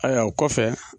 Ayiwa o kɔfɛ